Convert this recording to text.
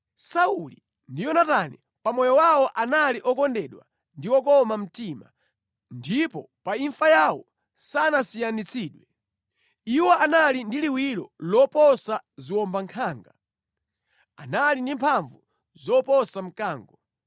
“Sauli ndi Yonatani, pa moyo wawo anali okondedwa ndi okoma mtima, ndipo pa imfa yawo sanasiyanitsidwe. Iwo anali ndi liwiro loposa ziwombankhanga, anali ndi mphamvu zoposa mkango.